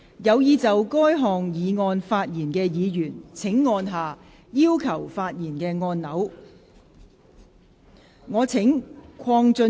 有意就這項議案發言的議員請按下"要求發言"按鈕。